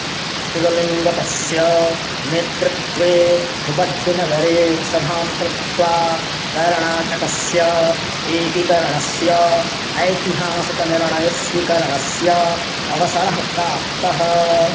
निजलिङ्गप्पस्य नेतृत्वे हुब्बळ्ळिनगरे सभां कृत्वा कर्णाटकस्य एकीकरणस्य ऐतिहासिकनिर्णयस्वीकरणस्य अवसरः प्राप्तः